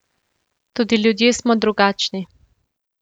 Tudi ljudje smo drugačni.